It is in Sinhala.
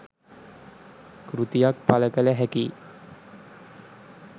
කෘතියක් පළ කළ හැකි යි